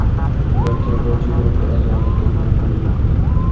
Ular terrorchi guruhga a’zolikda gumon qilinmoqda.